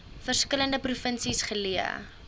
verskillende provinsies geleë